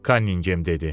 Konningem dedi.